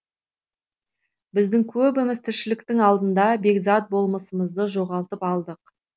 біздің көбіміз тіршіліктің алдында бекзат болмысымызды жоғалтып алдық